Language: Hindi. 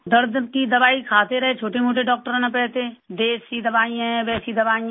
दर्द की दवाई खाते रहे छोटेमोटे डॉक्टरों ने तो ऐसे देशी दवाई है वैसी दवाई है